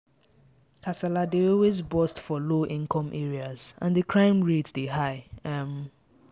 Kasala dey always burst for low income areas and di crime rate dey high um